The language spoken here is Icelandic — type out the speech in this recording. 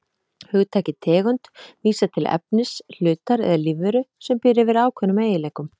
Hugtakið tegund vísar til efnis, hlutar eða lífveru sem býr yfir ákveðnum eiginleikum.